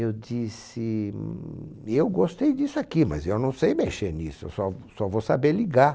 Eu disse, eu gostei disso aqui, mas eu não sei mexer nisso, eu só só vou saber ligar.